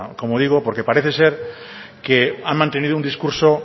como digo porque parece ser que han mantenido un discurso